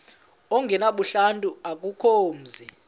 ongenabuhlanti akukho mzi